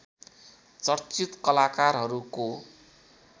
चर्चित कलाकारहरूको